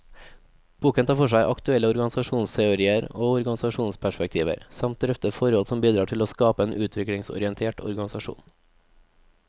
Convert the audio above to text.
Boken tar for seg aktuelle organisasjonsteorier og organisasjonsperspektiver, samt drøfter forhold som bidrar til å skape en utviklingsorientert organisasjon.